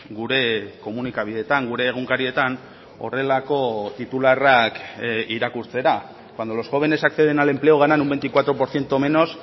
gure komunikabideetan gure egunkarietan horrelako titularrak irakurtzera cuando los jóvenes acceden al empleo ganan un veinticuatro por ciento menos